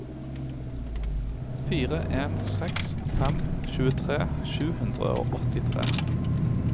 fire en seks fem tjuetre sju hundre og åttitre